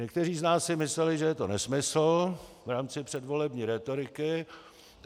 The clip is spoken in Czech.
Někteří z nás si mysleli, že je to nesmysl v rámci předvolební rétoriky.